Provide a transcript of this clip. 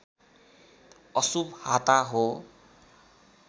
अशुभ हाता हो